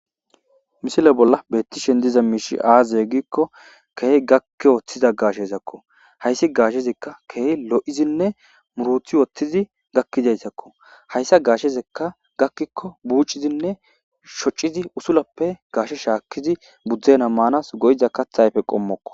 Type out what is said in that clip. Missile bolla betishini diza mishi aze gikko kehi gakki wothiza gashezako hayisi gashezika kehi loyidiine murutidi gaki wothizasako hayissa gashezaka gakiko bucidi shoccidi utulape gashe shashakidi budena manasi go'iza katha ayife qomoko